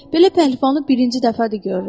Belə pəhləvanı birinci dəfədir görürəm.